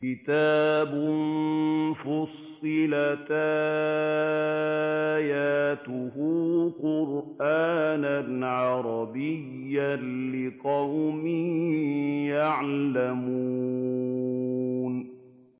كِتَابٌ فُصِّلَتْ آيَاتُهُ قُرْآنًا عَرَبِيًّا لِّقَوْمٍ يَعْلَمُونَ